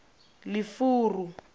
lefuru